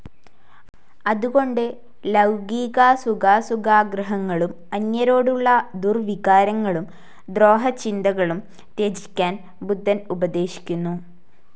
അതുകൊണ്ട് ലൌകികാസുഖാസുഖാഗ്രഹങ്ങളും അന്യരോടുള്ള ദുർവികാരങ്ങളും ദ്രോഹചിന്തകളും ത്യജിക്കാൻ ബുദ്ധൻ ഉപദേശിക്കുന്നു.